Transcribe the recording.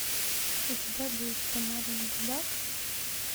у тебя будет с помадой на губах